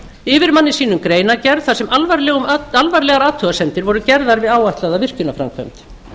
yfirmanni sínum greinargerð þar sem alvarlegar athugasemdir voru gerðar við áætlaða virkjunarframkvæmd